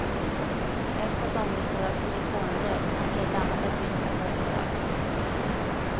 Ett av dem består av silikongel och ett annat är fyllt med koksalt.